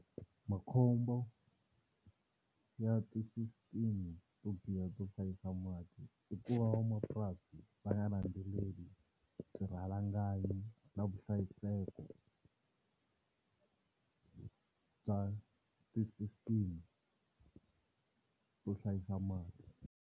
Makhombo ya ti-system to biha to hlayisa mati i ku va van'wamapurasi va nga landzeleli swirhalanganyi na vuhlayiseko bya ti-system to hlayisa mati.